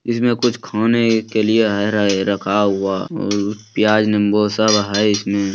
इसमें कुछ खाने के लिए है रहे रखा हुआ और पियाज -निम्बू सब है इसमें।